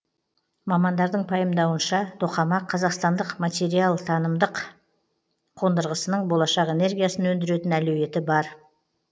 мамандардың пайымдауынша тоқамақ қазақстандық материалтанымдық қондырғысының болашақ энергиясын өндіретін әлеуеті бар